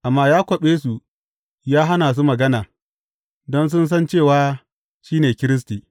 Amma ya kwaɓe su, ya hana su magana, don sun san cewa shi ne Kiristi.